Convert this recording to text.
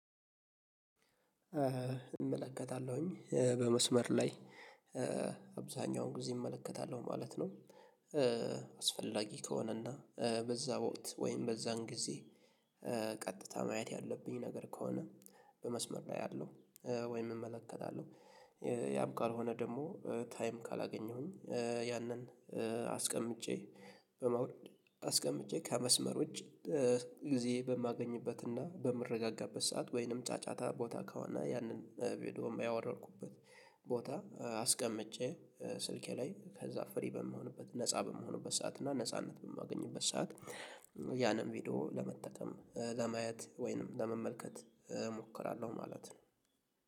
እመለከታለሁኝ በመስመር ላይ አብዛኛውን ጊዜ እመለከታለሁ ማለት ነው። አስፈላጊ ከሆነና በዛ ወቅት ወይም በዛን ጊዜ ቀጥታ ማየት ያለብኝ ነገር ከሆነ። በመስመር ላይ ያለው ወይም እመለከታለሁ። ያም ቃል ሆነ ደግሞ ታይም ካላገኘሁኝ ያንን። አስቀምጬ በመውደድ አስቀምጬ ከመስመር ውጪ ጊዜ በማገኝበትና በምረጋጋበት ሰዓት ወይንም ጫጫታ ቦታ ከሆነ ያንን ቪዲዮ ያወረድኩበት። ቦታ አስቀምጬ ስልኬ ላይ ከዛ ፍሪ በምሆንበት ነፃ በምሆንበት ሰዓት እና ነጻነት በማገኝበት ሰዓት። ያንን ቪዲዮ ለመጠቀም ለማየት ወይንም ለመመልከት እሞክራለሁ ማለት ነው።